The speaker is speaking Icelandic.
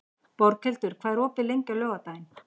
Borghildur, hvað er opið lengi á laugardaginn?